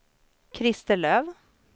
Christer Löf